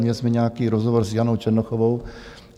Měli jsme nějaký rozhovor s Janou Černochovou.